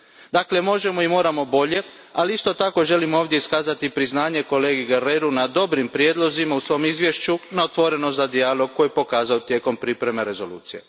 Dakle možemo i moramo bolje, ali isto tako želim ovdje iskazati priznanje kolegi Guerreru na dobrim prijedlozima u svom izvješću, na otvorenosti na dijalog koju je pokazao tijekom pripreme rezolucije.